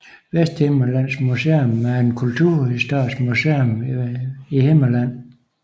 Vesthimmerlands Museum er et kulturhistorisk museum i Himmerland